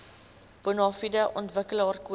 bonafide ontwikkelaar koop